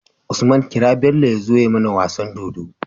Usman kira Bello yazo ya mAna wasan dodo